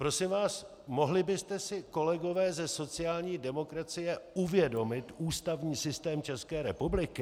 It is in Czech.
Prosím vás, mohli byste si, kolegové ze sociální demokracie, uvědomit ústavní systém České republiky?